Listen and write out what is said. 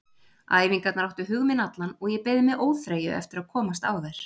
Æfingarnar áttu hug minn allan og ég beið með óþreyju eftir að komast á þær.